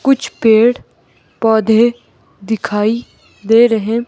कुछ पेड़ पौधे दिखाई दे रहे--